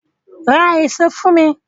Ra èso fún mi!